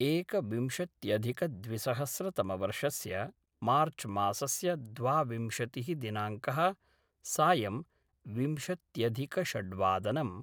एकविंशत्यधिकद्विसहस्रतमवर्षस्य मार्च्मासस्य द्वाविंशतिः दिनाङ्कः सायम् विंशत्यधिकषड्वादनम्